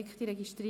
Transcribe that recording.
bei keiner Enthaltung.